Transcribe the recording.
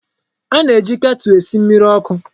A na-eji ketụl esi mmiri ọkụ.